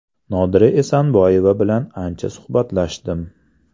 Nodira Esanboyeva bilan ancha suhbatlashdim.